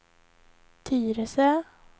Tyresö